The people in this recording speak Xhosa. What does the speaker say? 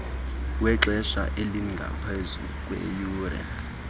wexesha elingaphezu kweeyure